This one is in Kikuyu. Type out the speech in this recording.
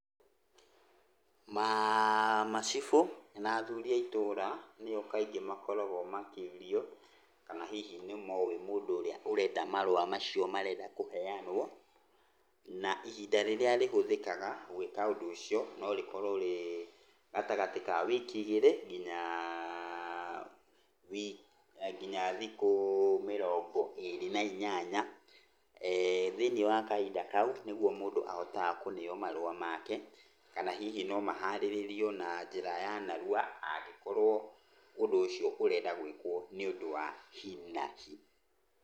Macibũ na athuri a itũra nĩo kaingĩ makoragwo makĩũrio kana hihi nĩmoĩ mũndũ ũrĩa ũrenda marũa macio marenda kũheyanwo. Na ihinda rĩrĩa rĩhũthĩkaga gũĩka ũndũ ũcio norĩkorwo rĩgatagatĩ ka wiki igĩrĩ, nginya thikũ mĩrongo ĩrĩ na inyanya. Thĩinĩ wa kahinda kau, nĩguo mũndũ aheyagwo marũa make, kana hihi no maharĩrĩrio na njĩra ya narua, angĩkorwo ũndũ ũcio ũrenda gwĩkwo nĩ ũndũ wa hinahi.